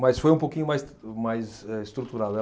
Mas foi um pouquinho mais, mais eh, estruturado.